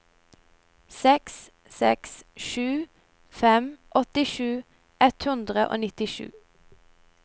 seks seks sju fem åttisju ett hundre og nittisju